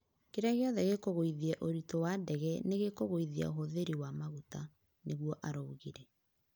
Kĩrĩa gĩothe gĩkugũĩthĩa ũrĩtũ wa ndege nĩgĩkũgũĩthĩa ũhũthĩri wa magũta", nĩguo araũgĩre